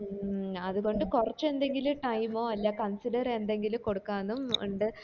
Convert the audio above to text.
മ് അത് കൊണ്ട് കൊറച്ച് എന്തെങ്കിലും time ഓ അല്ലെ consider എന്തെങ്കിലും കൊടുക്കാനും ഇണ്ട്